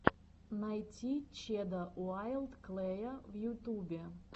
найти чеда уайлд клэя в ютубе